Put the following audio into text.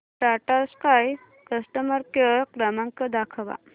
Tata Sky customer care क्रमांक दाखवा